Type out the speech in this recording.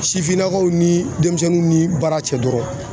Sifinnakaw ni denmisɛnninw ni baara cɛ dɔrɔn